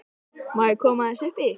Má ég aðeins koma upp í?